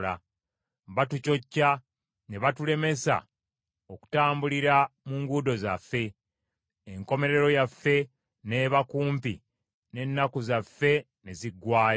Baatucocca ne batulemesa okutambulira mu nguudo zaffe; enkomerero yaffe n’eba kumpi, n’ennaku zaffe ne ziggwaayo.